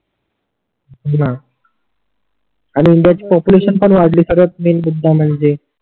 हो णा आणि इंडियात पॉप्युलेशन पण वाडली सर्वात मैन मुद्दा म्हणजे